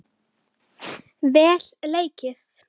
Þín Klara.